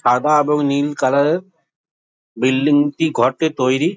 সাদা এবং নীল কালার বিল্ডিং টি ঘরটি তৈরি।